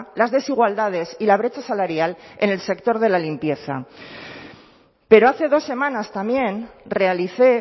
las desigualdades y la brecha salarial en el sector de la limpieza pero hace dos semanas también realicé